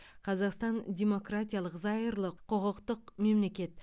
қазақстан демократиялық зайырлы құқықтық мемлекет